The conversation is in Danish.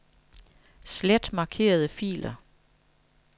Slet markerede filer.